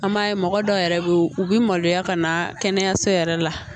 An b'a ye mɔgɔ dɔw yɛrɛ bɛ yen u bɛ maloya ka na kɛnɛyaso yɛrɛ la